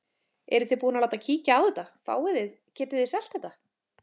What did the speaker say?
Eruð þið búin að láta kíkja á þetta, fáið þið, getið þið selt þetta?